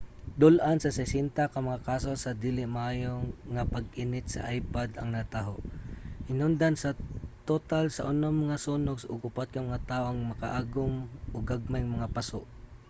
dul-an sa 60 ka mga kaso sa dili maayo nga pag-init sa ipod ang nataho hinungdan sa total sa unom nga sunog ug upat ka mga tawo ang makaagom og gagmayng mga paso